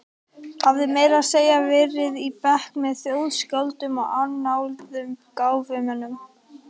Hafði meira að segja verið í bekk með þjóðskáldum og annáluðum gáfumönnum.